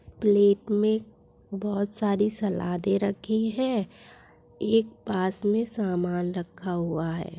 Plate मे बहुत सारी सलादे रखी है एक पास मे समान रखा हुआ है।